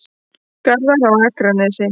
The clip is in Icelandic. Garðar á Akranesi.